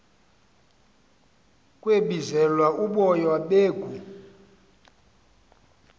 kwebizelwa uboya beegu